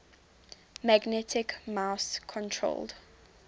magnetic mouse controlled